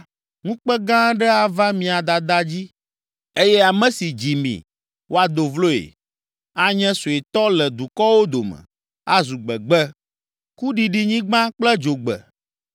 Ŋukpe gã aɖe ava mia dada dzi eye ame si dzi mi, woado vloe. Anye suetɔ le dukɔwo dome, azu gbegbe, kuɖiɖinyigba kple dzogbe.